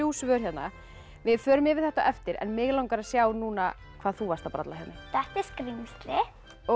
svör hérna við förum yfir þetta á eftir mig langar að sjá núna hvað þú varst að bralla þetta er skrímsli